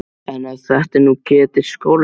En ef þetta er nú Ketill skólastjóri!